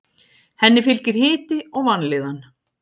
Henni fylgir hiti og vanlíðan.